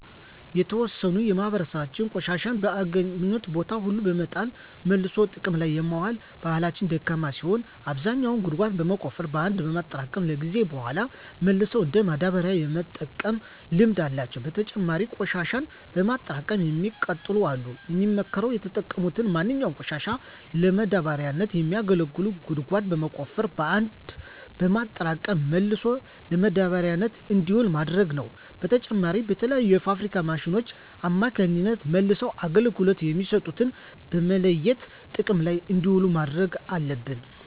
የተዎሰነው የማህበራሰባችን ቆሻሻን በአገኙት ቦታ ሁሉ በመጣል መልሶ ጥቅም ላይ የማዋል ባህላቸው ደካማ ሲሆን አብዛኛው ግን ጉድጓድ በመቆፈር በአንድ በማጠራቀም ከጊዜያት በሗላ መልሰው እንደ ማዳበሪያነት የመጠቀም ልምድ አላቸው። በተጨማሪም ቆሽሻን በማጠራቀም የሚያቃጥሉ አሉ። የሚመከረውም የተጠቀሙትን ማንኛውንም ቆሻሻ ለማዳበሪያነት የሚያገለግሉትን ጉድጓድ በመቆፈር በአንድ በማጠራቀም መልሶ ለማዳበሪያነት እንዲውል ማድረግ ነው። በተጨማሪም በተለያዩ የፋብሪካ ማሽኖች አማካኝነት መልሰው አገልግሎት የሚሰጡትን በመለየት ጥቅም ላይ እንዲውሉ ማድረግ አለብን።